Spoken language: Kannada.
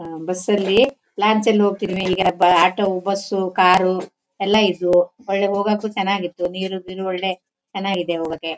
ಹಾ ಬಸ್ಸ ಲ್ಲಿ ಲಾಂಚ್ ಲ್ಲಿ ಹೊಕ್ಕಿದ್ವಿ ಈಗ ಆಟೋ ಬಸ್ಸು ಕಾರು ಎಲ್ಲ ಇದ್ವು ಒಳ್ಳೆ ಹೋಗೋಕೂ ಚನ್ನಾಗಿತ್ತು ನೀರು ಗೀರು ಒಳ್ಳೆ ಚನ್ನಾಗಿದೆ ಹೋಗೋಕೆ .